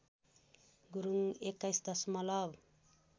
गुरुङ २१ दशमलव